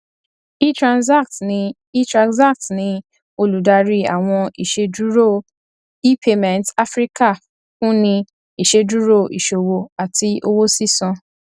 etranzact ní etranzact ní olùdarí àwọn iṣẹdúró epayments afíríkà fúnni iṣẹdúró iṣòwò àti owó sísan